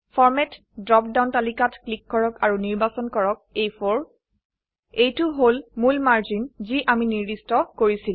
format drop down তালিকাত click কৰক আৰু নিৰ্বাচন কৰক আ4 এইটো হল মূল মাৰ্জিন যি আমি নিৰ্দিষ্ট কৰিছিলো